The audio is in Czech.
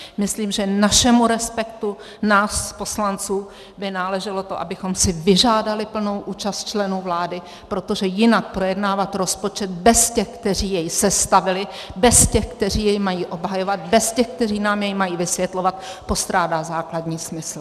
Myslím, že našemu respektu, nás poslanců, by náleželo to, abychom si vyžádali plnou účast členů vlády, protože jinak projednávat rozpočet bez těch, kteří jej sestavili, bez těch, kteří jej mají obhajovat, bez těch, kteří nám jej mají vysvětlovat, postrádá základní smysl.